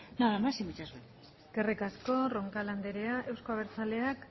nada más y muchas gracias eskerrik asko roncal anderea euzko abertzaleak